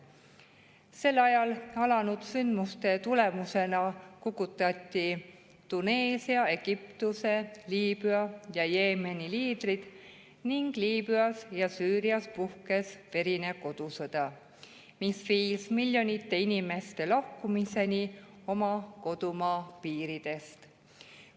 Sel ajal alanud sündmuste tulemusena kukutati Tuneesia, Egiptuse, Liibüa ja Jeemeni liidrid ning Liibüas ja Süürias puhkes verine kodusõda, mis viis miljonite inimeste lahkumiseni oma kodumaa piiridest.